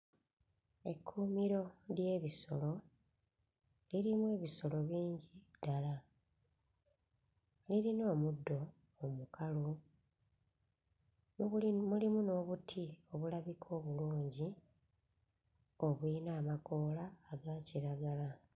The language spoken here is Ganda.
Ekkuumiro ly'ebisolo lirimu ebisolo bingi ddala, lirina omuddo omukalu, mu buli mulimu n'obuti obulabika obulungi obuyina amakoola aga kiragala.